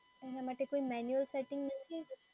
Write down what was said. એના માટે કોઈ મેન્યુઅલ સેટિંગ નથી?